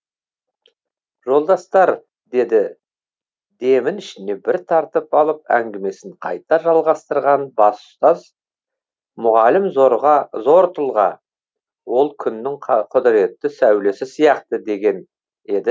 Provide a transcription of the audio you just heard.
жолдастар деді демін ішіне бір тартып алып әңгімесін қайта жалғастырған бас ұстаз мұғалім зорға зор тұлға ол күннің құдіретті сәулесі сияқты деген еді